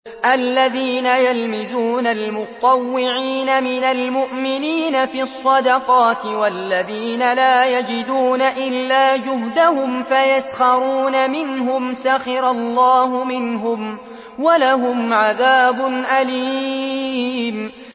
الَّذِينَ يَلْمِزُونَ الْمُطَّوِّعِينَ مِنَ الْمُؤْمِنِينَ فِي الصَّدَقَاتِ وَالَّذِينَ لَا يَجِدُونَ إِلَّا جُهْدَهُمْ فَيَسْخَرُونَ مِنْهُمْ ۙ سَخِرَ اللَّهُ مِنْهُمْ وَلَهُمْ عَذَابٌ أَلِيمٌ